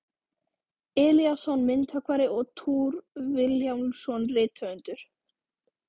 Elíasson myndhöggvari og Thor Vilhjálmsson rithöfundur.